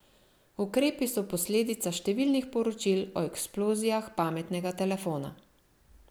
Ukrepi so posledica številnih poročil o eksplozijah pametnega telefona.